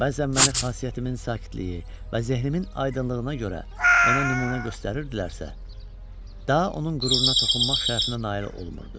Bəzən məni xasiyyətimin sakitliyi və zehrimin aydınlığına görə ona nümunə göstərirdilərsə, daha onun qüruruna toxunmaq şərəfinə nail olmurdu.